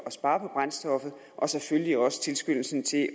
spare på brændstoffet og selvfølgelig også tilskyndelsen til